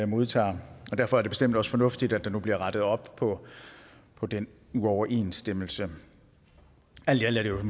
modtager og derfor er det bestemt også fornuftigt at der nu bliver rettet op på på den uoverensstemmelse alt i alt er det